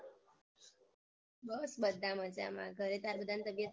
બસ બધા મજામાં ઘરે તારા બધાંની તબિયત સારી છે ને?